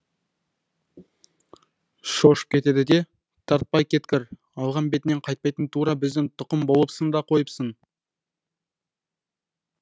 шошып кетеді де тартпай кеткір алған бетінен қайтпайтын тура біздің тұқым болыпсың да қойыпсың